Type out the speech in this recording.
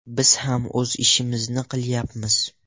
Biz ham o‘z ishimizni qilyapmiz.